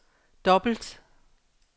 dobbelt